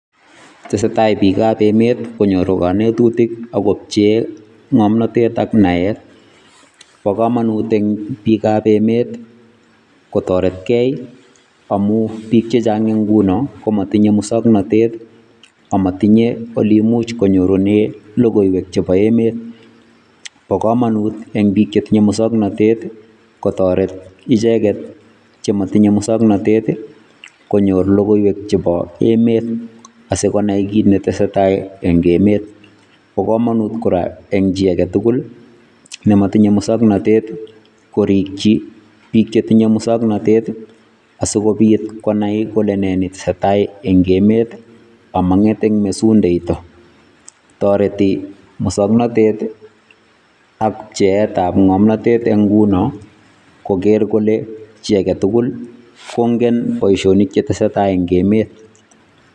Tesetai biik ab emet konyoru kanetutik agopchee ng'omnotet ak naet. Bo kamanut eng' biikab emet kotoretkei amu biik chechang eng' nguno komatinye musoknatet amatinye oli imuch konyorune logoiwek chebo emet. Bo kamanut eng' biik chetinye musoknotet kotoret icheget chematinye musoknotet konyor logoiwek chebo emet asigonai kit netesetai eng' emet. Bo kamanut kora eng' chi age tugul nematinye musoknotet korikchi biik chetinye musoknotet asikobit konai kole nee netesetai eng' emet amang'et eng' mesundeito. Toreti mosoknotet ak pcheetab ng'omnotet eng' nguno, koger kole chi age tugul kongen boisionik chetesetai eng' emet.